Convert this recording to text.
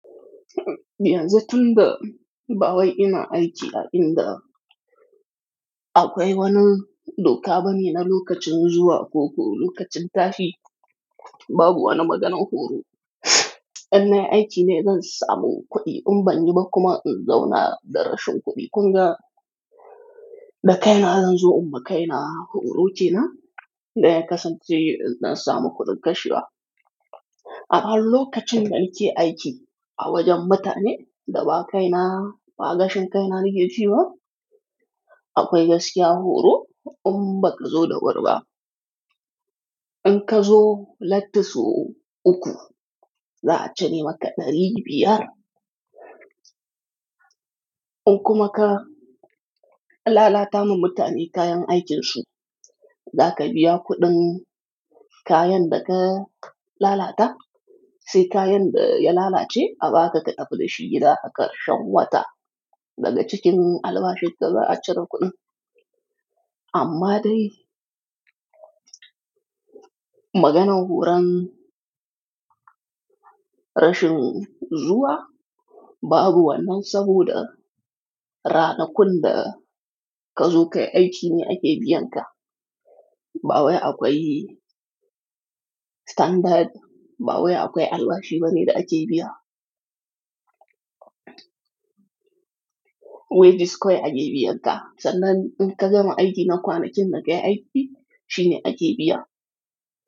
Yanzu tunda ba wai ina aiki a inda akwai wani doka bane na lokacin zuwa ko ko lokacin tashi. Babu wani maganan horo. Inna yi aiki ne zan samu kuɗi in ban yi ba kuma in zauna da rashin kuɗi. Kun ga? Da kaina zan zo inma kaina horo kenan idan ya kasance zan samu kuɗin kashewa. Amma lokacin da ake aiki a wajen mutane da ba kaina ba gashin kaina nake shi ba, akwai gaskiya horo in bak zo da wuriɓa. In ka zo latti so uku, za a cire maka ɗari biyar. In kuma ka lalata min mutane kayan aikinsu, za ka biya kuɗin kayan da ka lalata, sai kayan da ya lalace a ba ka ka tafi da shi gida, a karshen wata daga cikin albashin ka za a cire kuɗin. Amma dai, maganan horon rashin zuwa babu wannan saboda rana kun da ka zo kai aiki ne ake biyan ka. Ba wai akwai standard, ba wai akwai albashi bane da ake biya. Wages kawai ake biyan ka. Sannan in ka gama aiki na kwanakin da kayi aiki shine ake biya.